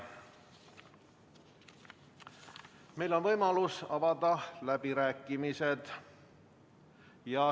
Meil on võimalus avada läbirääkimised.